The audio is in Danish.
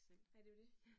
Nej, det jo det